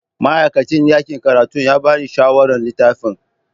Ma'aikacin ɗakin karatu ya ba ni shawarar littafin.